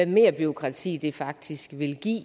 mere bureaukrati det faktisk ville give